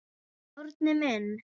Árni minn.